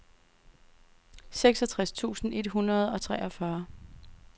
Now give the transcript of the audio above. seksogtres tusind et hundrede og treogfyrre